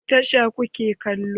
Wani tasha kuke kalo?